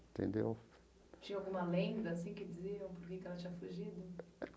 Entendeu? Tinha alguma lenda, assim, que dizia o porquê que ela tinha fugido?